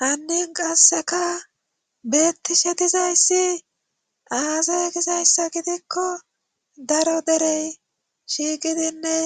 Hannin qasseka beetti shetizayssi aazaye gizayssa gidikko daro derey shiigidinne